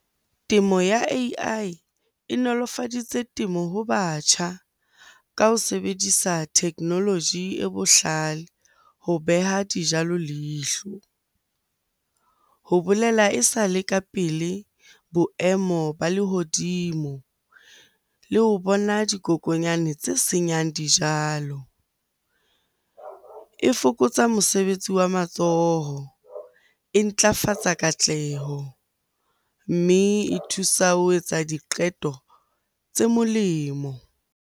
Temo ya A_I e nolofaditse temo ho batjha ka ho sebedisa technology e bohlale ho beha dijalo leihlo, ho bolela esale ka pele boemo ba lehodimo, le ho bona dikokonyane tse senyang dijalo. E fokotsa mosebetsi wa matsoho, e ntlafatsa katleho, mme e thusa ho etsa diqeto tse molemo.